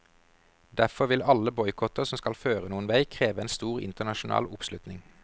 Derfor vil alle boikotter som skal føre noen vei kreve en stor internasjonal oppslutning.